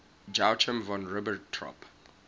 joachim von ribbentrop